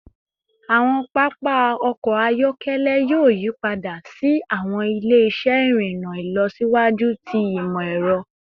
Awọn papa ọkọ ayọkẹlẹ yoo yipada si awọn ile-iṣẹ irinna ilọsiwaju ti imọ-ẹrọ